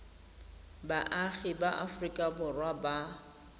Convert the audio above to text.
baagi ba aforika borwa ba